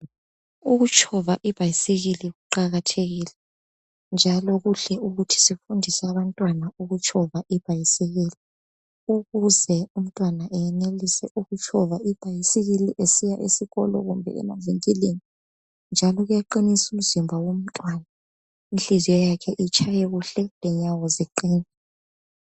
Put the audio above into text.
Ukutshova ibhayisikili kuqakathekile njalo kuhle ukuthi sifundise abantwana ukutshova ibhayisikili ukuze umntwana ayenelise ukutshova ibhayisikili esiya esikolo kumbe emavinkilini njalo kuyaqinisa umzimba womuntwana inhliziyo yakhe itshaye kuhle lenyawo zakhe ziqine.